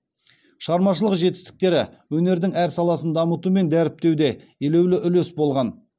шығармашылық жетістіктері өнердің әр саласын дамыту мен дәріптеуде елеулі үлес болған